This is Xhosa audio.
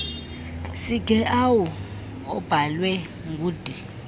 sigeawu obhalwe ngud